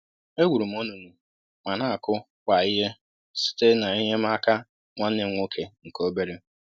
E gwuru m onunu ma n'akụ kwá ihe site na enye m aka nwanne m nwoke nke obere